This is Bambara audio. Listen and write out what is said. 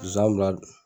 Zonzannin bila